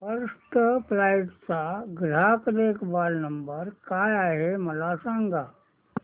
first flight चा ग्राहक देखभाल नंबर काय आहे मला सांग